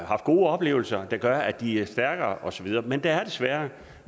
haft gode oplevelser der gør at de er stærkere og så videre men der er desværre